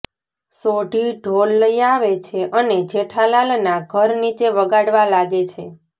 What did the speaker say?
સોઢી ઢોલ લઈ આવે છે અને જેઠાલાલના ઘર નીચે વગાડવા લાગે છે